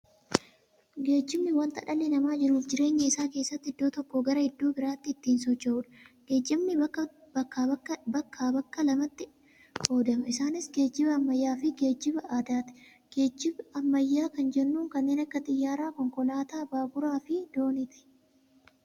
Geejibni wanta dhalli namaa jiruuf jireenya isaa keessatti iddoo tokkoo garaa iddoo biraatti ittiin socho'uudha. Geejibni bakka bakka lamatti qoodama. Isaanis, geejiba ammayyaafi geejiba aadaati. Geejiba ammayyaa kan jennuun kanneen akka xiyyaaraa, konkolaataa, baaburafi diinooti.